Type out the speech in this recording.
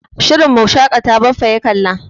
Shirin Mu shaƙata Baffa ya kalla.